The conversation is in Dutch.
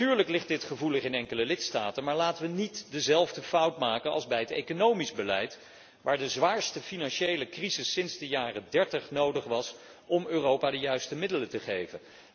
Natuurlijk ligt dit gevoelig in enkele lidstaten, maar laten wij niet dezelfde fout maken als bij het economisch beleid, waar de zwaarste financiële crisis sinds de jaren dertig nodig was om Europa de juiste middelen te geven.